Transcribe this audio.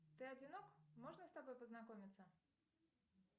ты одинок можно с тобой познакомиться